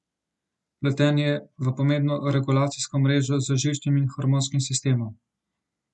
Vpleten je v pomembno regulacijsko mrežo z živčnim in hormonskim sistemom.